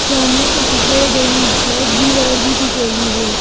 सामने एक red and black दीवार भी दिख रही है।